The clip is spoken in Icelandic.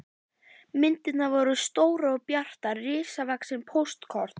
Myndirnar voru stórar og bjartar, risavaxin póstkort.